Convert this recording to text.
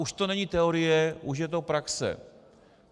Už to není teorie, už je to praxe.